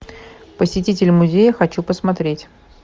посетитель музея хочу посмотреть